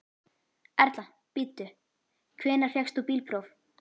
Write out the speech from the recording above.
Erla: Bíddu, hvenær fékkst þú bílpróf?